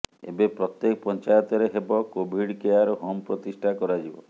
ଏବେ ପ୍ରତ୍ୟେକ ପଞ୍ଚାୟତରେ ହେବ କୋଭିଡ୍ କେୟାର ହୋମ୍ ପ୍ରତିଷ୍ଠା କରାଯିବ